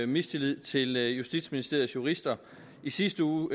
mistillid til justitsministeriets jurister i sidste uge